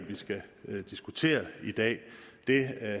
vi skal diskutere i dag det